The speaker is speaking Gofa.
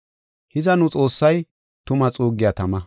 Hiza, nu Xoossay tuma xuuggiya tama.